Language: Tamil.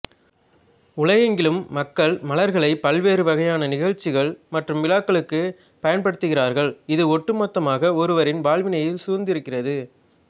உலகெங்கிலும் மக்கள் மலர்களை பல்வேறு வகையான நிகழ்ச்சிகள் மற்றும் விழாக்களுக்கு பயன்படுத்துகிறார்கள் இது ஒட்டுமொத்தமாக ஒருவரின் வாழ்வினை சூழ்ந்திருக்கிறது